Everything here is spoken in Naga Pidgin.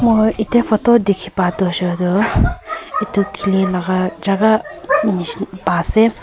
moi etiya photo dekhi pa to ase koi tu etu kheli laga jagha nishi pa ase.